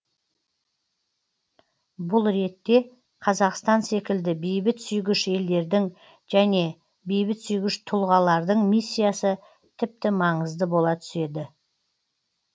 бұл ретте қазақстан секілді бейбітсүйгіш елдердің және бейбітсүйгіш тұлғалардың миссиясы тіпті маңызды бола түседі